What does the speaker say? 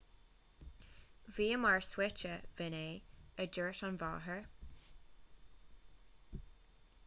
bhíomar suaite b'in é a dúirt an mháthair